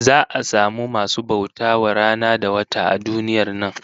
Za'a samu masu bauta wa rana da wata a duniyar nan